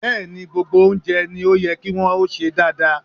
Bẹ́ẹ̀ ni, gbogbo oúnjẹ ni ó yẹ kí wọn ó sè dáadáa.